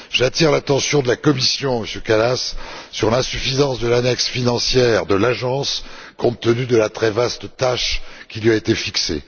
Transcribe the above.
J'attire l'attention de la Commission, Monsieur Kallas, sur l'insuffisance de l'annexe financière de l'Agence, compte tenu de la très vaste tâche qui lui a été fixée.